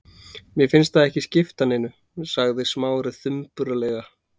Mér fannst það ekki skipta neinu- sagði Smári þumbaralega.